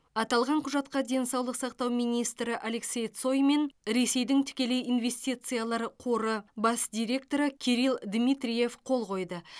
аталған құжатқа денсаулық сақтау министрі алексей цой мен ресейдің тікелей инвестициялар қоры бас директоры кирилл дмитриев қол қойды